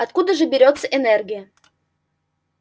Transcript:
откуда же берётся энергия